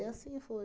E assim foi.